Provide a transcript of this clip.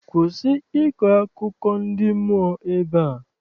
Kwụsị ịkọ akụkọ ndị mmụọ ebea!